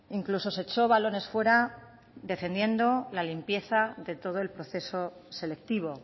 incluso se echó balones fuera defendiendo la limpieza de todo el proceso selectivo